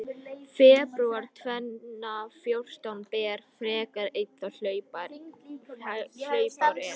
Febrúar tvenna fjórtán ber, frekar einn þá hlaupár er.